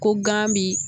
Ko gan bi